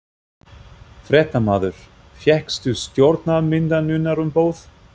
Fréttamaður: Fékkstu stjórnarmyndunarumboð?